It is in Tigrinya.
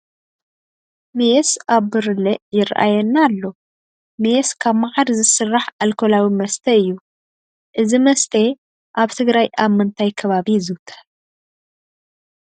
ሜስ ኣብ ብርለ ይርአየና ኣሎ፡፡ ሜስ ካብ መዓር ዝስራሕ ኣልኮላዊ መስተ እዩ፡፡ እዚ መስተ ኣብ ትግራይ ኣብ ምንታይ ከባቢ ይዝውተር?